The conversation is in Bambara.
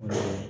Unhun